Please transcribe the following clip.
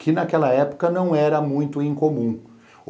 que naquela época não era muito incomum.